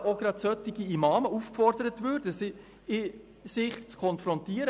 Dort würden eben gerade auch solche Imame aufgefordert, sich mit diesen Aussagen zu konfrontieren.